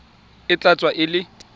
e ka tswa e le